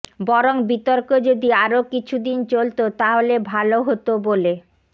বরং বিতর্ক যদি আরও কিছুদিন চলত তাহলে ভাল হত বলে